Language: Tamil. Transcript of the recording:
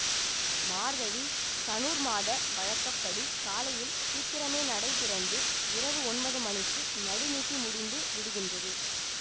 மார்கழி தனுர் மாத வழக்க படி காலையில் சீக்கிரமே நடை திறந்து இரவு ஒன்பது மணிக்கு நடுநிசி முடிந்து விடுகின்றது